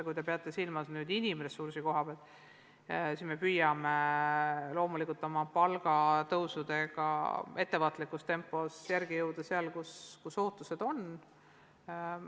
Kui te peate silmas inimressurssi, siis me püüame loomulikult palgatõusudega ettevaatlikus tempos järele jõuda seal, kus ootused on.